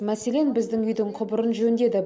мәселен біздің үйдің құбырын жөндеді